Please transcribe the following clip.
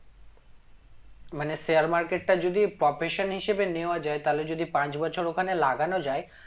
মানে share market টা যদি profession হিসাবে নেওয়া যায় তাহলে যদি পাঁচ বছর ওখানে লাগানো যায়